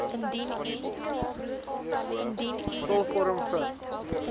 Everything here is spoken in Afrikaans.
vul vorm f